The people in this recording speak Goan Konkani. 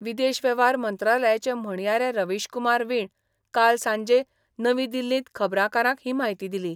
विदेश वेव्हार मंत्रालयाचे म्हणयारे रवीश कुमार वाीण काल सांजे नवी दिल्लींत खबराकारांक ही म्हायती दिली.